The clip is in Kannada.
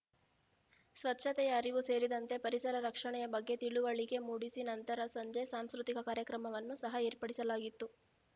ಸ್ವಚ್ಚತೆಯ ಅರಿವು ಸೇರಿದಂತೆ ಪರಿಸರ ರಕ್ಷಣೆಯ ಬಗ್ಗೆ ತಿಳುವಳಿಕೆ ಮೂಡಿಸಿ ನಂತರ ಸಂಜೆ ಸಾಂಸ್ಕೃತಿಕ ಕಾರ್ಯಕ್ರಮವನ್ನು ಸಹ ಏರ್ಪಡಿಸಲಾಗಿತ್ತು